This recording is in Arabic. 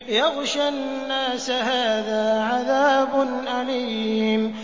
يَغْشَى النَّاسَ ۖ هَٰذَا عَذَابٌ أَلِيمٌ